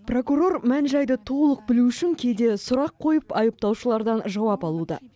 прокурор мән жайды толық білу үшін кейде сұрақ қойып айыптаушылардан жауап алуда